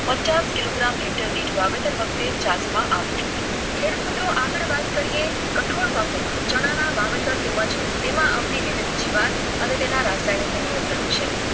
પચાસ કિલોગ્રામે હેક્ટરદીઠ વાવેતર વખતે ચાઠા આપો. ખેડૂત મિત્રો આગળ વાત કરીએ છોડ પાકો માં ચણા ના વાવેતર તેમજ તેમાં આવતી વિવિધ જીવાત અને તેના રાસાયણિક નિયંત્રણ વિશે.